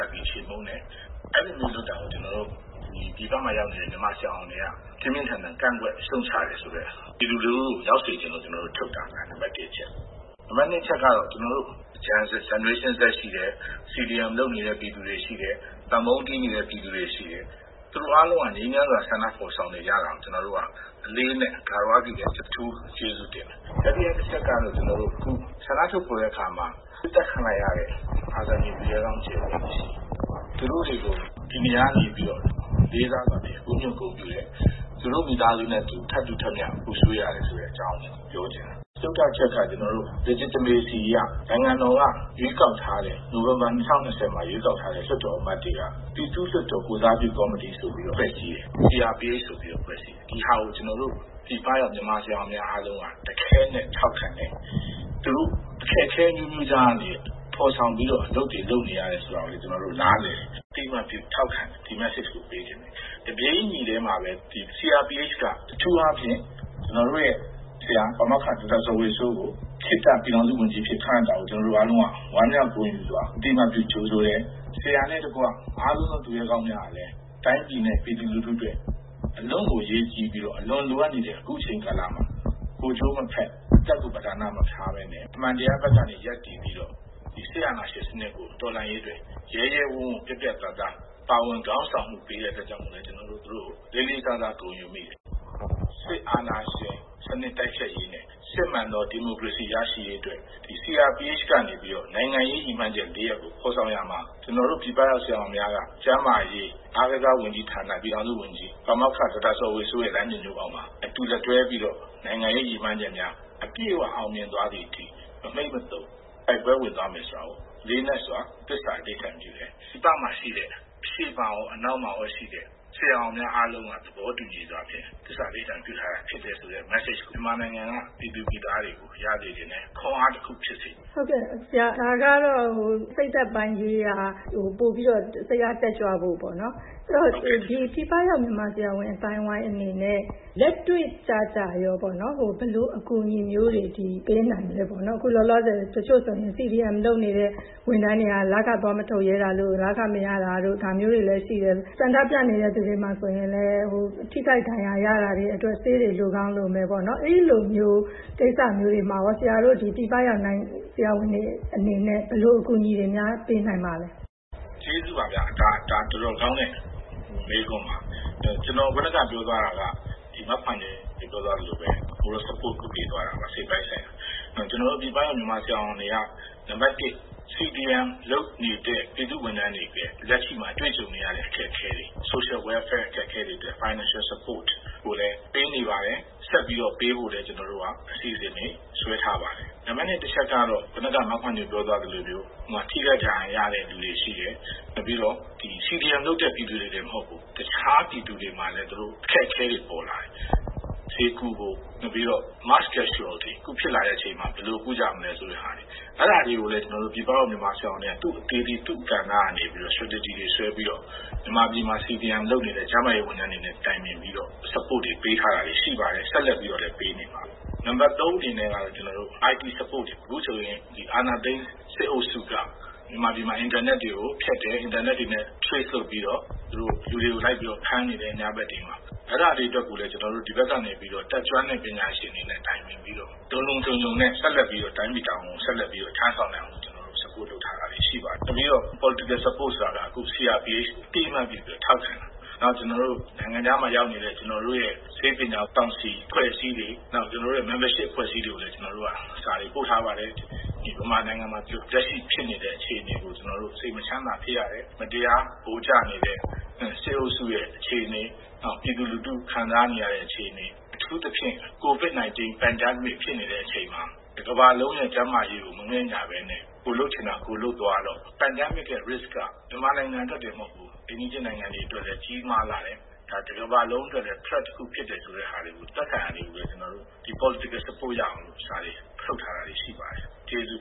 တ်ပြီး ချေမှုန်းတယ်။ အဲဒီလိုလုပ်တာကို ကျနော်တို့-ပြည်ပမှာ ရောက်နေတဲ့ မြန်မာ ဆရာဝန်တွေက ပြင်းပြင်းထန်ထန် ကန့်ကွက်ရှုတ်ချတယ်ဆိုတာကို ပြည်သူလူထုသိစေချင်လို့ ကျနော်တို့ ထုတ်တာပါ။ နံပါတ် အချက်ကတော့ Generation Z ရှိတယ်၊ CDM လုပ်နေတဲ့ပြည်သူတွေရှိတယ်။ နောက် သံပုံးတီးနေတဲ့ ပြည်သူတွေရှိတယ်။ သူတို့အားလုံးက ငြိမ်းချမ်းစွာ ဆန္ဒဖော်ဆောင်နေကြတာကို ကျနော်တို့က အလေးအနက် ဂါဝရပြုတယ်။ အထူး ကျေးဇူးတင်တယ်။ တတိယအချက်ကတော့ အခု ဆန္ဒထုတ်ဖော်တဲ့အခါမှာ ပစ်သတ်ခံလိုက်ရတဲ့ အာဇာနည်သူရဲကောင်း ကြယ်ပွင့်တွေရှိတယ်။ သူတို့တွေကို ဒီနေရာကနေ လေးစားစွာနဲ့ဦးညွတ်ပြီးတော့ ဂုဏ်ပြုတယ်။ သူတို့ မိသားစုတွေနဲ့အတူ ထပ်တူထပ်မျှ ပူဆွေးရတယ်ဆိုတဲ့အကြောင်းကိုလည်း ကျနော် ပြောချင်တယ်။ စတုတ္ထအချက်က ကျနော်တို့အနေနဲ့ legitimacy အရ နိုင်ငံတော်က နိုဝင်ဘာ ၂၀၂၀ မှာရွေးကောက်ထားတဲ့ လွှတ်တော်အမတ်တွေက ပြည်သူ့လွှတ်တော် ကိုယ်စားပြုကော်မတီဆိုပြီးတော့ CRPH ဆိုပြီးတော့ ဖွဲ့စည်းတယ်။ ဒီဟာကို ကျနော်တို့ ပြည်ပရောက် မြန်မာဆရာဝန်များအားလုံးက တခဲနက်ထောက်ခံတယ်။ သူတို့ အခက်အခဲအမျိုးမျိုးကြားကနေ အလုပ်တွေလုပ်နေကြရတယ်ဆိုတာကိုလည်း ကျနော်တို့ နားလည်တယ်။ အသိအမှတ်ပြုထောက်ခံတယ်။ ဒီ message ကိုပေးချင်တယ်။ တပြေးညီတည်းမှာပဲ CRPH က အထူးအားဖြင့် ကျနော်တို့ရဲ့ဆရာ ပါမောက္ခ ဒေါက်တာဇော်ဝေစိုးကို ခေတ္တပြည်ထောင်စုဝန်ကြီးအဖြစ် ခန့်အပ်တာကို ကျနော်တို့အားလုံးက ဝမ်းမြောက်ဂုဏ်ယူစွာ အသိ အမှတ်ပြု ကြိုဆိုတယ်။ ဆရာနဲ့တကွ အားလုံးသောသူရဲကောင်းများဟာလည်း တိုင်းပြည်အတွက် အလွန့်ကို အရေးကြီးပြီးတော့ အလွန်လိုအပ်နေတဲ့အခုအချိန်ကာလမှာ ကိုယ်ကျိုး မဖက်၊ အသက်ကို ပဓာနမထားဘဲနဲ့ အမှန်တရားဘက်ကရပ်တည်ပြီးတော့ စစ်အာဏာရှင်ကိုတော်လှန်ရေးအတွက် ရဲရဲဝံ့ဝံ့ ပြတ်ပြတ်သားသား ပါဝင်ခေါင်းဆောင်မှုပေးတဲ့အတွက် သူတို့ကို ကျနော်တို့က လေးလေး စားစား ဂုဏ်ယူမိတယ်။ စစ်အာဏာရှင်စနစ်တိုက်ဖျက်ရေးနဲ့ စစ်မှန်သောဒီမိုကရေစီရရှိရေးအတွက် CRPH ကနေပြီးတော့ နိုင်ငံရေးရည်မှန်းချက် ၄ ရပ်ကို ဖော်ဆောင်ရာမှာ ကျနော်တို့ ပြည်ပက ဆရာဝန်များက ကျန်းမာရေး၊ အားကစားဝန်ကြီးဌာန ပြည်ထောင်စုဝန်ကြီး ပါမောက္ခ ဒေါက်တာ ဇော်ဝေစိုးရဲ့ လမ်းညွှန်မှုအောက်မှာ အတူလက်တွဲပြီးတော့ နိုင်ငံရေးရည်မှန်းချက်များကို အပြည့်အဝ အောင်မြင်သွားသည်အထိ မမှိတ်မသုန် တိုက်ပွဲဝင်သွားမယ်ဆိုတာကို လေးနက်စွာ သစ္စာအဓိဌာန်ပြုတယ်။ ပြည်ပမှာရှိတဲ့ အရှေ့မှာရော၊ အနောက်မှာရောရှိတဲ့ ဆရာဝန်များအားလုံးက သဘောတူညီစွာဖြင့် သစ္စာအဓိဌာန်ပြုထားတာဖြစ်တယ်ဆိုတဲ့ message ကို မြန်မာနိုင်ငံက ပြည်သူပြည်သားတွေကို ရစေချင်တယ်။ ခွန်အားတခု ဖြစ်စေချင်တယ်။ ဟုတ်ကဲ့။ ဒါကတော့ စိတ်ဓာတ်ရေးရာမှာ ပိုပြီးတော့ စိတ်အားတက်ကြွဖို့ပေါ့။ အဲဒီတော့ ပြည်ပရောက် မြန်မာဆရာဝန်အသိုင်းအဝိုင်းအနေနဲ့ လက်တွေ့ကျကျပေါ့နော်- ဘယ်လိုအကူအညီမျိုးတွေ ပေးနိုင်မလဲပေါ့နော်။ အခုလောလောဆယ်ဆိုရင် CDM လုပ်နေတဲ့ ဝန်ထမ်းတွေက လခသွားမထုတ်ရဲတာတု့ိ၊ လခမရတာတို့ ရှိတယ်။ ဆန္ဒပြနေတဲ့သူတွေမှာဆိုရင်လည်း ထိခိုက် ဒဏ်ရာရတာတွေအတွက် ဆေးတွေလိုကောင်းလိုမယ်ပေါ့။ အဲဒီလိုကိစ္စမျိုးတွေမှာရော ဆရာတို့ ပြည်ပရောက် မြန်မာဆရာဝန်တွေအနေနဲ့ ဘယ်လို အကူအညီတွေများ ပေးနိုင်ပါလဲ။ ကျေးဇူးပါဗျာ။ ဒါ တော်တော်ကောင်းတဲ့မေးခွန်းပါ။ ကျနော် အခုနက ပြောသွားတာက မခွါညို အခုနက ပြောသွားသလိုပဲ။ moral support ပေးသွားတာပါ။ စိတ်ပိုင်းဆိုင်ရာ..။ ကျနော်တို့ ပြည်ပရောက် မြန်မာဆရာဝန်တွေက နံပါတ် CDM လုပ်နေတဲ့ ပြည်သူ့ဝန်ထမ်းတွေ အတွက် လက်ရှိမှာတွေ့ကြုံနေရတဲ့အခက်အခဲတွေ social welfare အခက်အခဲတွေအတွက် finical support ကိုလည်းပေးနေပါတယ်။ ဆက်ပြီးတော့ပေးဖို့လည်း ကျနော်တို့က အစီအစဉ်တွေ ဆွဲထားပါတယ်။ နံပါတ် အချက်က - အခုနက မခွါညိုပြောသွားသလိုမျိုး ထိခိုက်ဒဏ်ရာရတဲ့သူတွေရှိတယ်။ နောက်ပြီးတော့ CDM လုပ်တဲ့ပြည်သူတွေတင်မဟုတ်ဘူး။ တခြားပြည်သူတွေမှာလည်း အခက်အခဲတွေပေါ်လာတယ်။ ဆေးကုဖို့၊ နောက်ပြီးတော့ mass casualty အခုဖြစ်လာတဲ့အချိန်မှာ ဘယ်လိုကုကြမလဲဆိုတဲ့ဟာတွေ။ အဲဒါတွေကိုလည်း ကျနော်တို့ ပြည်ပရောက် ဆရာဝန်တွေက သူ့အသီးသီး၊ သူ့ကဏ္ဍနဲ့သူ strategy တွေဆွဲပြီးတော့၊ မြန်မာပြည်မှာ CDM လုပ်နေတဲ့ ကျန်းမာရေး ဝန်ထမ်းတွေနဲ့ တိုင်ပင်ပြီးတော့ support တွေ ပေးနေတာတွေ ရှိပါတယ်။ ဆက်လက်ပြီးတော့လည်း ပေးနေမှာပါ။ နံပါတ် အနေနဲ့ကတော့ IT support တွေပေါ့။ အခုဆိုရင် အာဏာသိမ်းစစ်အုပ်စုက မြန်မာပြည် မှာ အင်တာနက်တွေကိုဖြတ်တယ်။ အင်တာနက်တွေနဲ့ trace လုပ်ပြီးတော့ ညဘက်တွေမှာ လူတွေကို လိုက်ပြီးတော့ ဖမ်းနေတယ်။ အဲဒါတွေအတွက်တွေကိုလည်း ကျနော်တို့က ဒီဘက်ကနေ တတ်ကျွမ်းတဲ့ပညာရှင်တွေနဲ့တိုင်ပင်ပြီးတော့ လုံလုံခြုံခြုံနဲ့ တိုင်းပြည်တာဝန်ကို ဆက်လက်ပြီးတော့ ထမ်းဆောင်နိုင်အောင် support လုပ်ထားတာတွေ အများကြီးရှိပါတယ်။ နောက်ပြီးတော့ political support ဆိုတာကတော့ အခု CRPH ကို အသိအမှတ်ပြုပြီးတော့ ထောက်ခံတာပေါ့။ နောက် ကျနော်တို့ ရဲ့နိုင်ငံခြားမှာရောက်နေတဲ့ ဆေးပညာအဖွဲ့အစည်းတွေ၊ နောက် ကျနော်တို့ရဲ့ membership အဖွဲ့အစည်းတွေကိုလည်း စာတွေပို့ထားပါတယ်။ မြန်မာနိုင်ငံမှာလက်ရှိဖြစ်နေတဲ့အခြေအနေကို စိတ်မချမ်းမသာဖြစ်ရတယ်၊ မတရားဗိုလ်ကျနေတဲ့ စစ်အုပ်စုရဲ့အခြေအနေ၊ နောက် ပြည်သူလူထု ခံစားနေရတဲ့အခြေအနေ..အထူးသဖြင့် COVID-19 pandemic ဖြစ်နေတဲ့အချိန်အခါမှာ တကမ္ဘာလုံးရဲ့ကျန်းမာရေးကို မငဲ့ညှာဘဲနဲ့ ကိုယ်လုပ်ချင်ရာကိုယ်လုပ်သွားတော့ pandemic ရဲ့ risk က မြန်မာနိုင်ငံအတွက်တင်မဟုတ်ဘူး။ အိမ်နီးချင်းနိုင်ငံတွေအတွက်လည်း ကြီးမားလှတဲ့၊ တကမ္ဘာလုံးအတွက်လည်း threat တခုဖြစ်တယ်ဆိုတဲ့ဟာတွေကိုလည်း သက်ဆိုင်ရာတွေကို political support ရအောင်လို့ စာတွေထုတ်ထားတာတွေ ရှိပါတယ်။ ကျေးဇူး